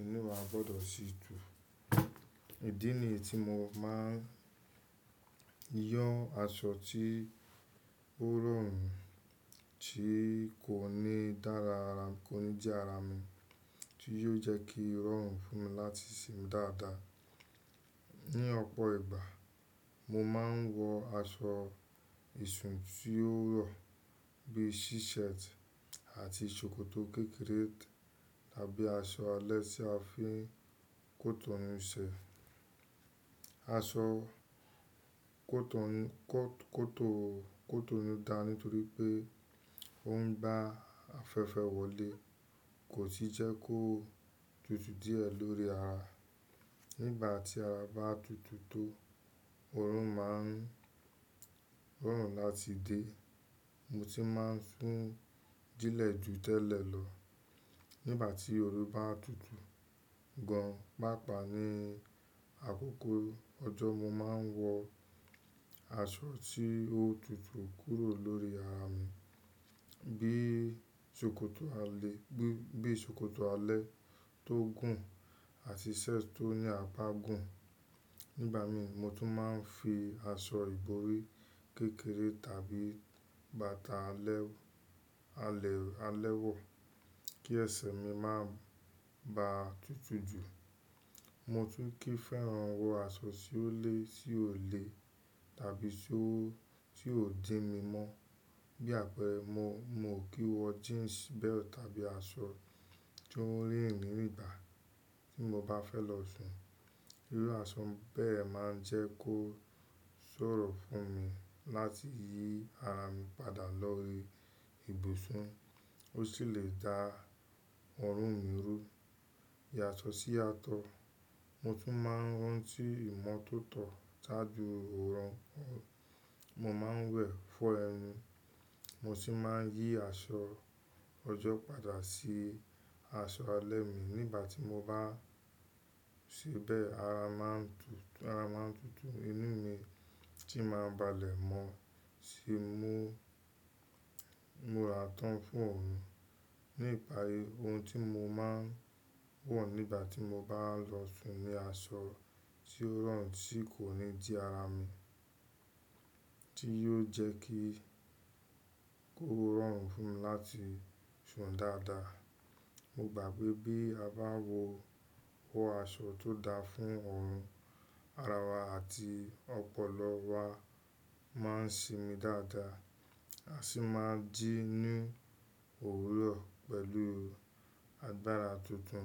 inú wa gbọ́dọ̀ sì dùn. Idí nìyii tí mo máa ń yọ aṣọ tí ó rọrùn tí kò ní dára ara, kò ní jí ara mi, tí yóò jẹ́ kí ó rọrùn fún mi láti sún dáadáa. Ni ọ̀pọ̀ ìgbà, mo máa ń wọ aṣọ ìsùn tí ó rọ̀ bí i si shirt àti ṣòkòtò kékeré tàbí aṣọ alẹ́ tí a fi n kó tó ní se. Aṣọ kó tó ní, kó tó, kó tó ní dá nítorí pé ó ń bá afẹ́fẹ́ wọlé, kò sì jẹ́ kó tutù díẹ̀ lórí ara. Nígbà tí ara bá tutù tó, òórùn máa ń, òórùn láti dé, mo sì máa ń sún dílẹ̀ ju tẹ́lẹ̀ lọ. Nígbà tí òru bá tutù gan, pàápàá ní àkókò ọjọ́, mo máa ń wọ aṣọ tí ó tutù kúrò lórí ara mi bí i ṣòkòtò alẹ́, bí i, bí i ṣòkòtò alẹ́ tó gùn àti shirt tó ní apá gùn. Nígbà mi mo tún máa ń fi aṣọ ìborí kékeré tàbí bàtà alẹ́, alẹ́, alẹ́ wọ̀ kí ẹsẹ̀ mi má ba à tutù jù. Mo tún kì í fẹ́ran wọ aṣọ tí ó le, tí ò le tàbí tí ó, tí ò jín mi mọ́ bí àpẹẹrẹ mo, mo kò kí wọ jeans belt tàbí aṣọ tó rẹ́rìn míìgbà tí mo bá fẹ́ lọ sùn. Irú aṣọ bẹ́ẹ̀ máa ń jẹ́ kó ṣòro fún mi láti yí ara mi padà lọ irù ibùsùn. Ó sì lè dá òórùn mi rú. Iye aṣọ sí atọ́. Mo tún máa ń rántí ìmọ́tótó tájú òórùn. Mo máa ń wẹ̀ fọ́ ẹnu, mo sì máa ń yí aṣọ ọjọ́ padà sí aṣọ alẹ́ mi nígbà tí mo bá ṣe bẹ́ẹ̀ ara máa ń tutù, ara máa ń tutù. Inú mi tí máa ń balẹ̀ mọ́ sì mú, múra tán fún òórùn. Ní ìpayé ohun tí mo máa ń wọ̀ nígbà tí mo bá ń lọ sùn ni aṣọ tí ó rọrùn tí kò ní jí ara mi, tí yóò jẹ́ kí, kó rọrùn fún mi láti sùn dáadáa. Mo gbà pé bí a bá wọ, wọ aṣọ tó da fún òórùn, ara wa àti ọpọlọ wa máa ń sín mi dáadáa àsí máa jí ní òwúrọ̀ pẹ̀lú agbára tuntun.